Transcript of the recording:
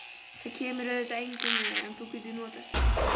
Það kemur auðvitað engum við, en þú getur notast við